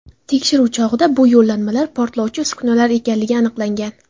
Tekshiruv chog‘ida bu yo‘llanmalar portlovchi uskunalar ekanligi aniqlangan.